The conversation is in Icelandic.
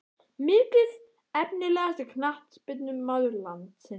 Mikið Efnilegasti knattspyrnumaður landsins?